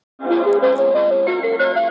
Maður fer allt í einu að heyra nýjar raddir.